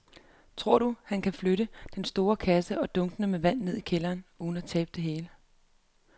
Tror du, at han kan flytte den store kasse og dunkene med vand ned i kælderen uden at tabe det hele?